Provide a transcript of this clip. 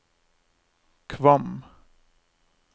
Kvam